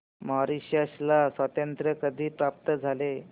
Mauritius ला स्वातंत्र्य कधी प्राप्त झाले